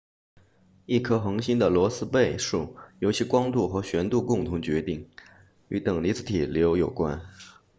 一颗恒星的罗斯贝数由其光度和旋度共同决定与等离子体流有关